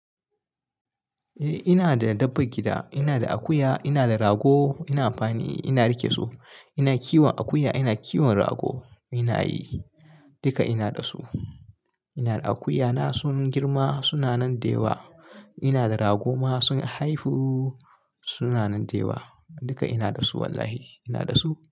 Eh ina da dabban gida, ina da akuya, ina da rago. Ina amfani, ina rike su, ina kiwon akuya, ina kiwon rago. Ina yi, duka ina da su. Ina da akuyana sun girma suna nan dewa. Ina da ragoma sun haifu suna nan dewa. Duka ina da su wallahi ina da su.